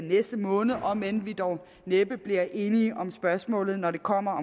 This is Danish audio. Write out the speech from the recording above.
næste måned om end vi dog næppe bliver enige om spørgsmålet når det kommer